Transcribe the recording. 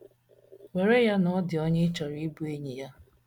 Were ya na ọ dị onye ị chọrọ ịbụ enyi ya.